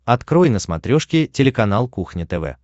открой на смотрешке телеканал кухня тв